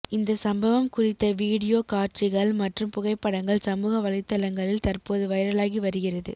இந்த சம்பவம் குறித்த வீடியோ காட்சிகள் மற்றும் புகைப்படங்கள் சமூக வலைதளங்களில் தற்போது வைரலாகி வருகிறது